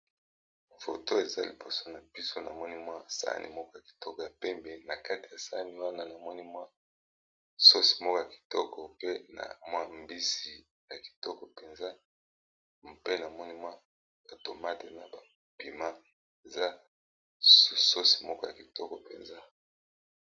Photo eza liboso na biso namoni mwa sahani moko ya kitoko ya pembe na kati ya sahani wana namoni mwa sosi moko ya kitoko pe na mwa mbisi ya kitoko penza pe namoni mwa tomate na ba piment eza sosi moko ya kitoko penza.